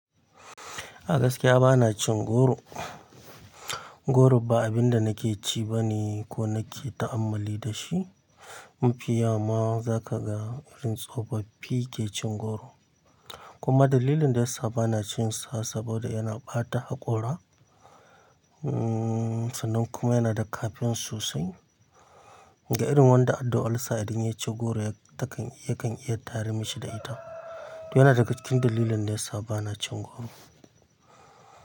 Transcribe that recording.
A gaskiya bana cin goro. Goro ba abin da nake ci bane ko nake ta'ammali da shi. Mu fiyawa ma za ka ga irin tsofaffi ke cin goro. Kuma dalilin da yasa bana cinsa saboda yana ɓata haƙora. Ummm, sannan kuma yana da kafin sosai. Ga irin wanda harda ulsa idan ya ci goro yakan iya ta har mishi da ita. To yana daga cikin dalilan da yasa bana cin goro.